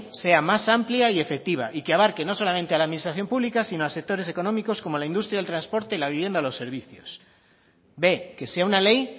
sea más amplia y efectiva y que abarque no solamente a la administración pública sino a sectores económicos como la industria el transporte la vivienda o los servicios b que sea una ley